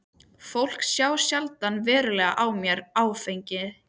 Fólk sá sjaldan verulega á mér áfengi.